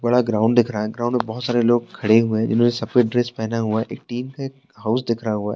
बड़ा ग्राउंड दिख रहा है ग्राउंड में भोत सारे लोग खड़े हुए हैं जिन्होंने सफ़ेद ड्रेस पहना हुआ है एक टीन के हाउस दिखरा हुआ है।